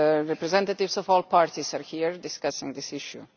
representatives of all parties are here discussing this issue.